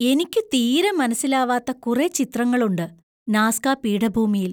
എനിക്കു തീരെ മനസ്സിലാവാത്ത കുറെ ചിത്രങ്ങളുണ്ട് നാസ്ക പീഠഭൂമിയിൽ!